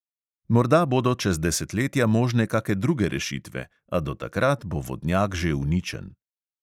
Morda bodo čez desetletja možne kake druge rešitve, a do takrat bo vodnjak že uničen.